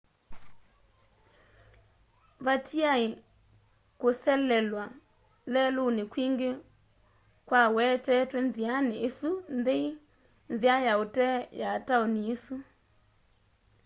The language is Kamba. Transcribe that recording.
vatiaĩ kũselew'a lelũnĩ kwingĩ kwawetetwe nzĩanĩ ĩsu nthei nzĩa ya ũtee ya taũni ĩsu